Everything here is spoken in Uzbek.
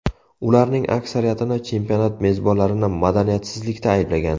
Ularning aksariyatini chempionat mezbonlarini madaniyatsizlikda ayblagan.